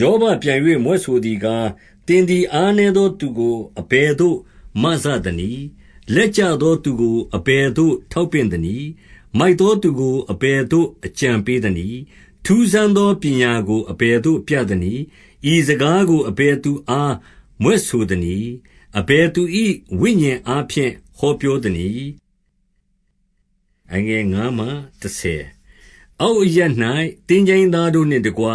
ယောဘပြန်၍ မြွက်ဆိုသည်ကား၊ သင်သည်အားနည်းသောသူကို အဘယ်သို့မစသနည်း။ လက်ကျသောသူကို အဘယ်သို့ ထောက်ပင့်သနည်း။ မိုက်သောသူကို အဘယ်သို့ အကြံပေးသနည်း။ ထူးဆန်းသော ပညာကို အဘယ်သို့ပြသနည်း။ ဤစကားကို အဘယ်သူအားမြွက်ဆိုသနည်း။ အဘယ်သူ၏ ဝိညာဉ်အားဖြင့် ဟောပြောသနည်း။ အောက်အရပ်၌ သင်္ချိုင်းသားတို့နှင့်တကွ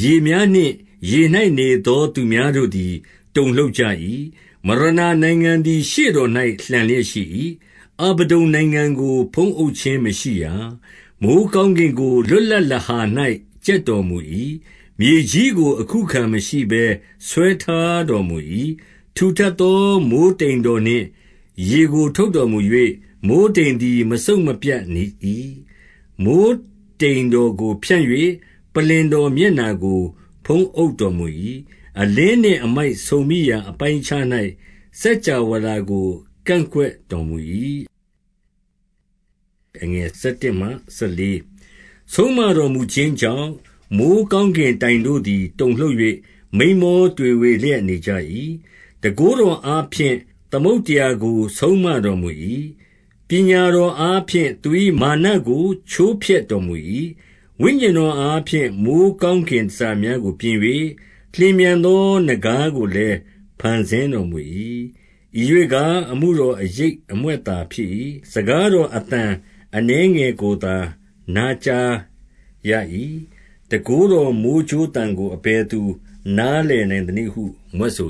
ရေ များနှင့်ရေ၌ နေသောသူများတို့သည် တုန်လှုပ်ကြ၏။ မရဏနိုင်ငံသည် ရှေ့တော်၌ လှန်လျက်ရှိ၏။ အဗဒ္ဒုန်နိုင်ငံကို ဖုံးအုပ်ခြင်းမရှိရာ။ မိုဃ်းကောင်းကင်ကို လွတ်လပ်လဟာ၌ ကြက် တော်မူ၏။ မြေကြီးကိုအခုအခံမရှိ ဆွဲထားတော်မူ၏။ ထူထပ်သော မိုဃ်းတိမ်တော်နှင့် ရေကို ထုပ်တော်မူ၍၊ မိုဃ်းတိမ်သည် မစုတ်မပြတ်နေ၏။ မိုဃ်းတိမ်တော်ကို ဖြန့်၍ ပလ္လင်တော်မျက်နှာကို ဖုံးအုပ်တော်မူ၏။ အလင်းနှင့်အမိုက်ဆုံမိရာ အပိုင်းအခြား၌ စကြဝဠာကို ကန့်ကွက်တော်မူ၏။ ဆုံးမတော်မူခြင်းကြောင့်၊ မိုဃ်းကောင်းကင်တိုင် တို့သည် တုန်လှုပ်၍ မိန်းမောတွေဝေလျက်နေကြ၏။ တန်ခိုးတော်အားဖြင့် သမုဒ္ဒရာကို ဆုံးမတော် မူ၏။ ပညာတော်အားဖြင့်သူ၏ မာနကို ချိုးဖျက်တော် မူ၏။ ဝိညာဉ်တော်အားဖြင့် မိုဃ်းကောင်းကင် တန်ဆာများကိုပြင်၍၊ လျင်မြန်သောနဂါးကို ကင်တန် ဆာများကိုပြင်၍၊ လျင်မြန်သော နဂါးကိုလည်း ဖန်ဆင်း တော်မူ၏။ ဤရွှေ့ကား၊ အမှုတော်အရိပ်အမြွက်သာဖြစ်၏။ စကားတော် အသံအနည်းငယ်ကိုသာ နားကြားရ၏။ တန်ခိုးတော်မိုဃ်းကြိုးသံကို အဘယ်သူနားလည်နိုင် သနည်းဟု မြွက်ဆို